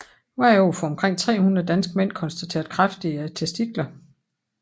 Hvert år får omkring 300 danske mænd konstateret kræft i testiklerne